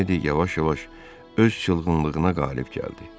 Miledi yavaş-yavaş öz çılğınlığına qalib gəldi.